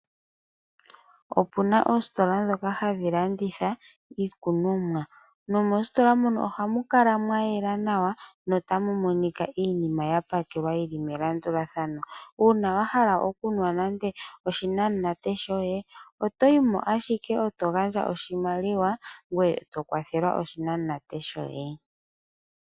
Opuna oositola ndhoka hadhi landitha iikunomwa, nomoositola muno ohamu kala mwa yela nawa notamu monika iinima ya palelwa nawa melandulathano. Uuna wa hala okunwa nande oshinamunate shoye, otoyi mo ashike e to gandja oshimaliwa ngoye to kwathelwa oshinamunate shoye.